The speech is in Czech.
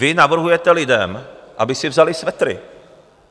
Vy navrhujete lidem, aby si vzali svetry.